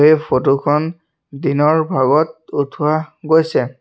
এই ফটো খন দিনৰ ভাগত উঠোৱা গৈছে।